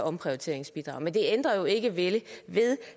omprioriteringsbidraget men det ændrer ikke ved